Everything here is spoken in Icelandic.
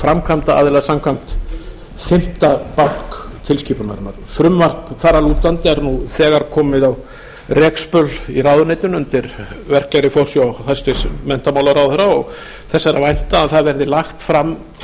framkvæmdaraðila samkvæmt fimmtu bálk tilskipunarinnar frumvarp þar að lútandi er nú þegar komið á rekspöl í ráðuneytinu undir verklegri forsjá hæstvirtur menntamálaráðherra og þess er að vænta að það verði lagt fram